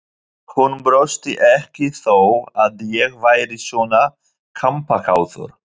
Hún brosti ekki þó að ég væri svona kampakátur.